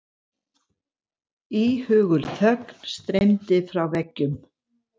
Íhugul þögn streymdi frá veggjum.